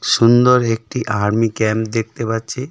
সুন্দর একটি army camp দেখতে পাচ্ছি।